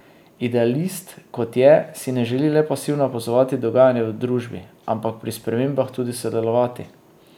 Idealist, kot je, si ne želi le pasivno opazovati dogajanja v družbi, ampak pri spremembah tudi sodelovati.